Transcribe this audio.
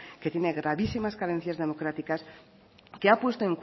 que tiene gravísimas carencias democráticas que ha puesto